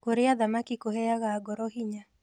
Kũrĩa thamaki kũheaga ngoro hinya